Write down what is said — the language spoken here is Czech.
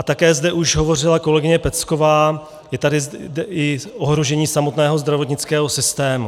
A také zde už hovořila kolegyně Pecková, je tady i ohrožení samotného zdravotnického systému.